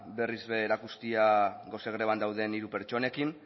berriz ere erakustea gose greban dauden hiru pertsonekin